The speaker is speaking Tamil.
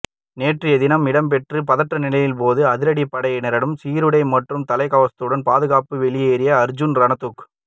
நேற்றைய தினம் இடம்பெற்ற பதற்றநிலையின் போது அதிரடிப்படையினரின் சீருடை மற்றும் தலைக்கவசத்துடன் பாதுகாப்பாக வெளியேறிய அர்ஜூனா ரணதுங்